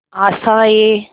आशाएं